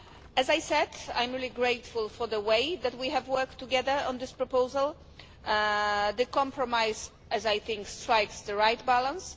As I said, I'm really grateful for the way that we have worked together on this proposal. The compromise, I think, strikes the right balance.